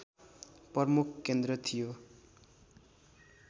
प्रमुख केन्द्र थियो